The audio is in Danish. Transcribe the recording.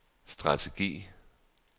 strategi